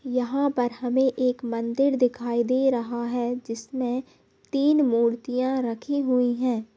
यहाँ पर हमे एक मंदिर दिखाई दे रहा है जिसमे तीन मूर्तियां रखी हुई है।